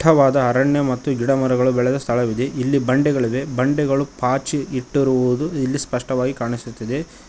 ವಾದ ಅರಣ್ಯ ಮತ್ತು ಗಿಡ ಮರಗಳು ಬೆಳೆದ ಸ್ಥಳವಿದೆ ಇಲ್ಲಿ ಬಂಡೆಗಳಿವೆ ಬಂಡೆಗಳು ಪಾಚಿ ಇಟ್ಟಿರುವುದು ಇಲ್ಲಿ ಸ್ಪಷ್ಟವಾಗಿ ಕಾಣಿಸುತ್ತದೆ.